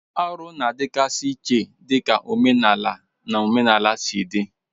Arụ na-adịgasị iche dịka omenala na omenala si dị.